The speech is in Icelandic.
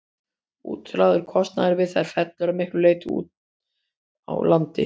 Útlagður kostnaður við þær fellur að miklu leyti til úti á landi.